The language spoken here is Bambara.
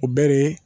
O bɛɛ de